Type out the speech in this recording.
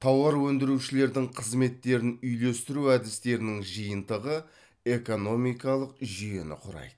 тауар өндірушілердің қызметтерін үйлестіру әдістерінің жиынтығы экономикалық жүйені құрайды